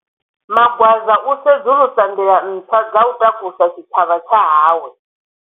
Magwaza u sedzulusa nḓila ntswa dza u takusa tshitshavha tsha hawe.